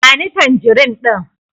Ba ni tanjirin ɗin!